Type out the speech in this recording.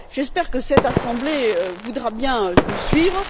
J'espère que cette assemblée voudra bien nous suivre.